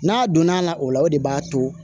N'a donna a la o la o de b'a to